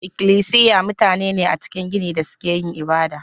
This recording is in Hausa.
Ikilisiya mutane ne a cikin gini da suke yin ibada.